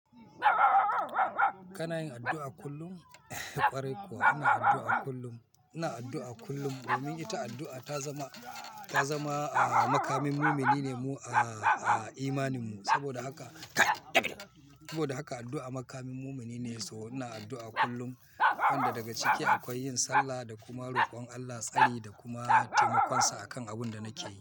Kana yin addu'a kullum? Eh ƙwarai kuwa ina addu'a kullum. Ina addu'a kullum domin ita addu'a ta zama, ta zama, ah, makamin mumini ne mu, ah, ah, imanin mu. Saboda haka saboda haka addu'a makamin mumini ne so ina addu'a kullum. Kanda daga ciki akwai yin sallah da kuma rokon Allah, tsani da kuma taimakonsa akan abunda nake yi.